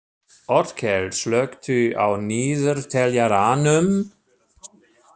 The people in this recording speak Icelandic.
Otkell, slökktu á niðurteljaranum.